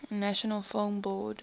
national film board